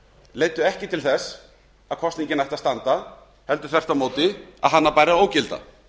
leiddu ekki til þess að kosningin ætti að standa heldur þvert á móti að hana bæri að ógilda